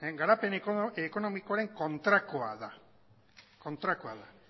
garapen ekonomikoaren kontrakoa da